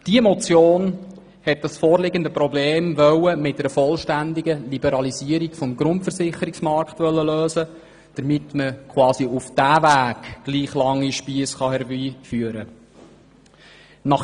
Diese Motion wollte das vorliegende Problem mit einer vollständigen Liberalisierung des Grundversicherungsmarktes lösen, damit man auf diesem Weg gleich lange Spiesse herbeiführen kann.